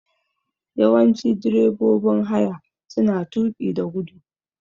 Yawanci direbobin haya suna tuƙi da guda.